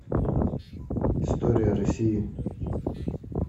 история россии